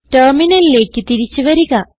ടെർമിനലിലേക്ക് തിരിച്ച് വരിക